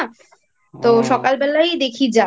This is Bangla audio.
তো সকালবেলাই দেখি যাব।